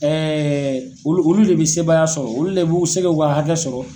olu olu le bi sebaaya sɔrɔ olu le bɛ s'u ka hakɛ sɔrɔ.